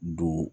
Don